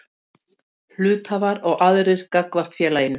Hluthafar og aðrir gagnvart félaginu.